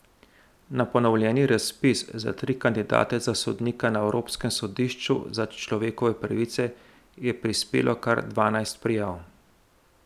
Na ponovljeni razpis za tri kandidate za sodnika na evropskem sodišču za človekove pravice je prispelo kar dvanajst prijav.